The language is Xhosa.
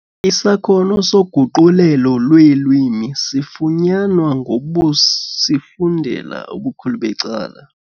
Isakhono soguqulelo lweelwimi sifunyanwa ngokusifundela ubukhulu becala.